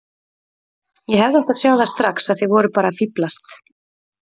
Ég hefði átt að sjá það strax að þið voruð bara að fíflast.